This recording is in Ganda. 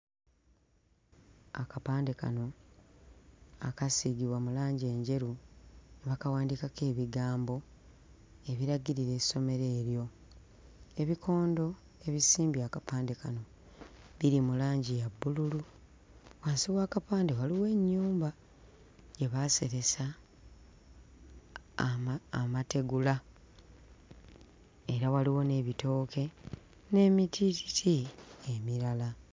Akapande kano akaasiigibwa mu langi enjeru ne bakawandiikako ebigambo ebiragirira essomero eryo. Ebikondo ebisimbye akapande kano biri mu langi ya bbululu. Wansi w'akapande waliwo ennyumba gye baaseresa ama... amategula era waliwo n'ebitooke n'emitiititi emirala.